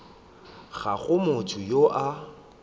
ga go motho yo a